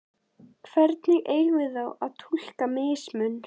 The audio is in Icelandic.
Hvernig eigum við þá að túlka mismun?